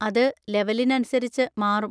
അത് ലെവെലിനനുസരിച്ച് മാറും.